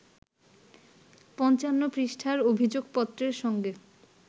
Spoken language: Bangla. ৫৫ পৃষ্ঠার অভিযোগপত্রের সঙ্গে